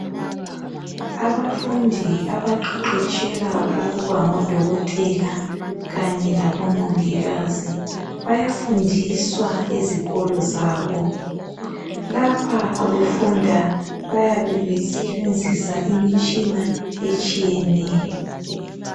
Abafundi abaqeqetshela ukuba ngodokotela kanye labo mongikazi. Bayafundiswa ezikolo zabo. Lapha befunda bayabe besebenzisa imitshina etshiyeneyo.